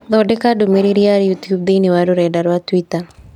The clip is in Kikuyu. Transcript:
Thondeka ndũmĩrĩri ya YouTube thĩini wa rũrenda rũa tũita